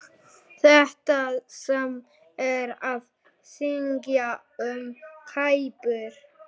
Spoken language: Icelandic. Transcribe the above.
Það sama er að segja um Kýpur.